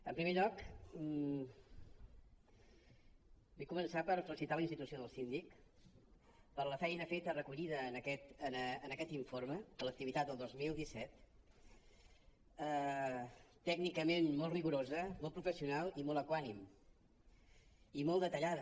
en primer lloc vull començar per felicitar la institució del síndic per la feina feta recollida en aquest informe per l’activitat del dos mil disset tècnicament molt rigorosa molt professional i molt equànime i molt detallada